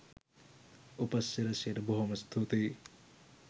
උපසිරැසියට බොහෝම ස්තුතියි